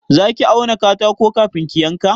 Za ki auna katako kafin ki yanka?